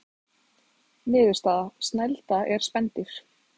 Niðurstaða: Snælda er spendýr.